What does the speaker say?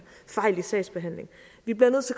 fejl i sagsbehandlingen vi bliver nødt